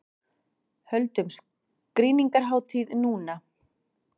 Höldum skrýningarhátíð núna!